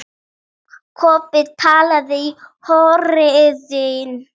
Kobbi talaði í hornið.